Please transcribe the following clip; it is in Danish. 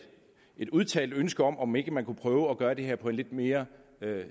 udtalt ønske om om ikke man kunne prøve at gøre det her på en lidt mere